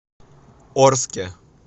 орске